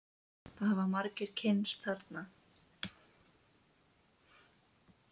Það hafa margir kynnst þarna.